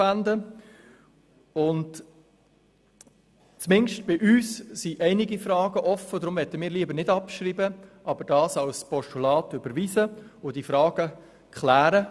Da bei uns verschiedene Fragen offen sind, möchten wir den Vorstoss nicht abschreiben, ihn aber als Postulat überweisen und diese Fragen klären.